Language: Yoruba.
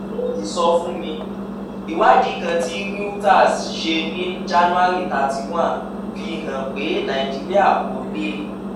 fún ìsọfúnni: ìwádìí kan tí reuters ṣe ní january thirty one fi hàn pé nàìjíríà kò lè